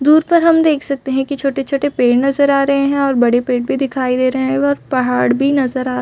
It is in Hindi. दूर पर हम देख सकते है की छोटे-छोटे पेड़ नज़र आ रहे है और बड़े पेड़ भी दिखाई दे रहे है और एक पहाड़ भी नज़र आ--